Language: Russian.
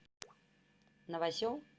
новосел